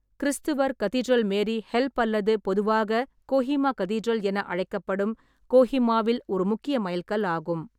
கிரிஸ்துவர் cathedral Mary help அல்லது பொதுவாக Kohima cathedral என அழைக்கப்படும், கோஹிமாவில் ஒரு முக்கிய மைல்கல் ஆகும்.